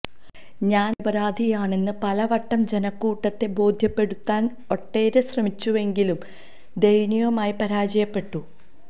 താൻ നിരപരാധിയാണെന്ന് പലവട്ടം ജനക്കൂട്ടത്തെ ബോധ്യപ്പെടുത്താൻ ഒടേര ശ്രമിച്ചുവെങ്കിലും ദയനീയമായി പരാജയപ്പെട്ടു